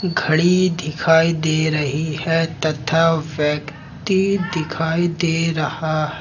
घड़ी दिखाई दे रही है तथा व्यक्ति दिखाई दे रहा है।